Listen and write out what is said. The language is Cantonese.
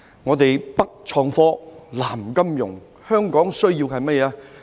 "北創科、南金融"，香港需要甚麼？